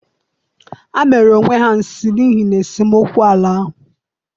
Ha mere onwe ha nsi n'ihi na esemokwu ala ahụ.